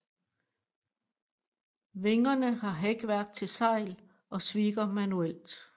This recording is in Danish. Vingerne har hækværk til sejl og svikker manuelt